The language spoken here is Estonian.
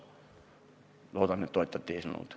Loodan, et toetate eelnõu.